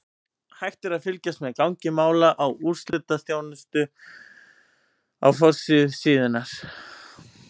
Hægt er að fylgjast með gangi mála á úrslitaþjónustu á forsíðu síðunnar.